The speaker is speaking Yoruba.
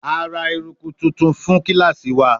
A ra eruku tuntun fun kilasi wa